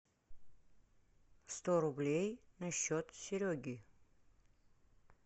сто рублей на счет сереги